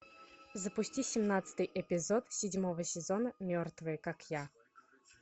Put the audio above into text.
запусти семнадцатый эпизод седьмого сезона мертвые как я